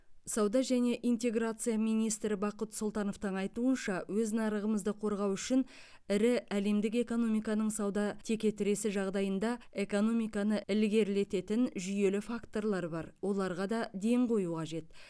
сауда және интеграция министрі бақыт сұлтановтың айтуынша өз нарығымызды қорғау үшін ірі әлемдік экономиканың сауда текетіресі жағдайында экономиканы ілгерілететін жүйелі факторлар бар оларға да ден қою қажет